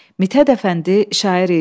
Mithət Əfəndi şair idi.